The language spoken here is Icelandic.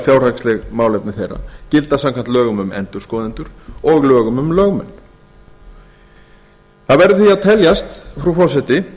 fjárhagsleg málefni þeirra gilda samkvæmt lögum um endurskoðendur og lögum um lögmenn það verður því að telja frú forseti